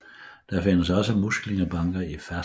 Der findes også muslingebanker i ferskvand